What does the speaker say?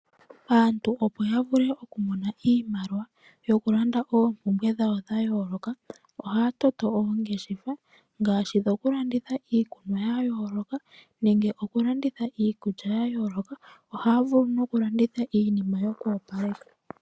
Aantu opo yavule okumona iimaliwa yokulanda oompunbwe dhawo dhayooka ohaa toto oongeshefa ngaashi dhokulanditha iikunwa ya yooloka nenge dhoku landitha iikulya yayooloka ohaa vulu nokulanditha iinima yokoopaleka.